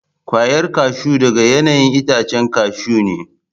Kwayar kashu daga 'ya'yan itacen kashu ne.